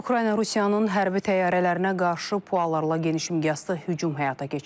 Ukrayna Rusiyanın hərbi təyyarələrinə qarşı PUA-larla geniş miqyaslı hücum həyata keçirib.